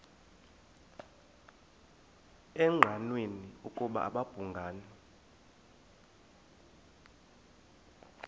engqanweni ukuba babhungani